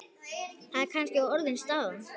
Er það kannski orðin staðan?